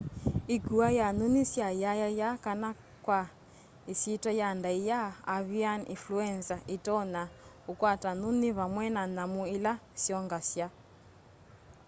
ikua ya nyunyi sya yayaya kana kwa isyitwa ya ndaia avian influenza itonya ukwata nyunyi vamwe na nyamu ila syongasya